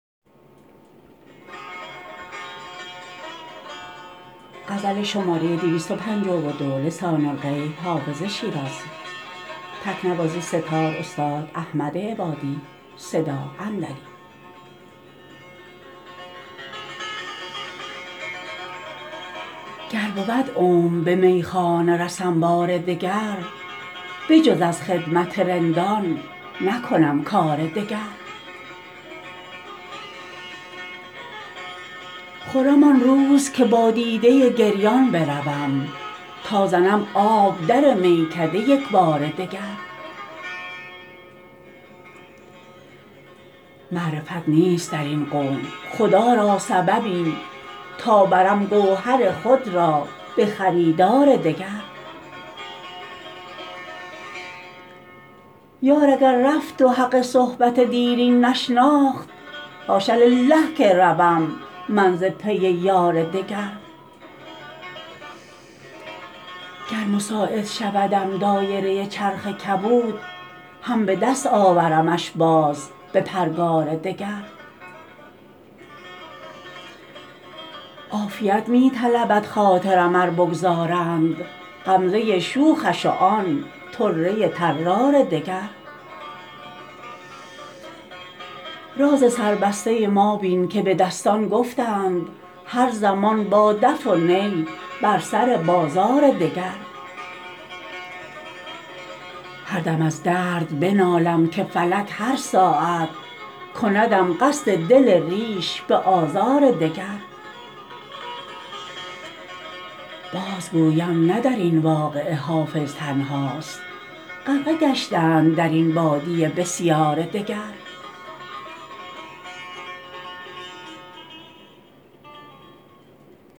گر بود عمر به میخانه رسم بار دگر بجز از خدمت رندان نکنم کار دگر خرم آن روز که با دیده گریان بروم تا زنم آب در میکده یک بار دگر معرفت نیست در این قوم خدا را سببی تا برم گوهر خود را به خریدار دگر یار اگر رفت و حق صحبت دیرین نشناخت حاش لله که روم من ز پی یار دگر گر مساعد شودم دایره چرخ کبود هم به دست آورمش باز به پرگار دگر عافیت می طلبد خاطرم ار بگذارند غمزه شوخش و آن طره طرار دگر راز سربسته ما بین که به دستان گفتند هر زمان با دف و نی بر سر بازار دگر هر دم از درد بنالم که فلک هر ساعت کندم قصد دل ریش به آزار دگر بازگویم نه در این واقعه حافظ تنهاست غرقه گشتند در این بادیه بسیار دگر